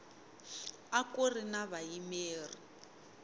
a ku ri na vayimeri